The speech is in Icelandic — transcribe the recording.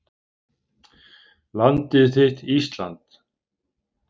Landið þitt Ísland.